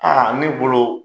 ne bolo